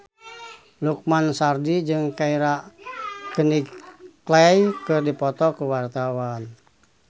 Lukman Sardi jeung Keira Knightley keur dipoto ku wartawan